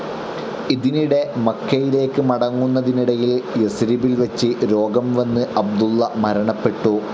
ഇതിനിടെ മക്കയിലേക്ക് മടങ്ങുന്നതിനിടയിൽ യസ്രിബിൽ വച്ച് രോഗം വന്ന് അബ്ദുള്ള മരണപ്പെട്ടു.